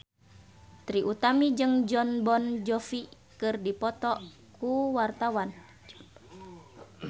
Trie Utami jeung Jon Bon Jovi keur dipoto ku wartawan